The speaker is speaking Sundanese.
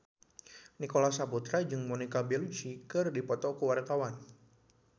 Nicholas Saputra jeung Monica Belluci keur dipoto ku wartawan